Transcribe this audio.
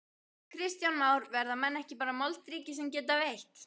Kristján Már: Verða menn ekki bara moldríkir sem geta veitt?